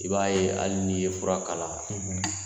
I b'a ye hali n'i ye fura k'a la